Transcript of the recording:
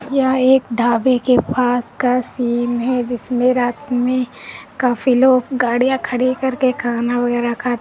यह एक ढाबे के पास का सीन है जिसमे रात में काफी लोग गाड़िया खड़ी करके खाना वगैरह खाते--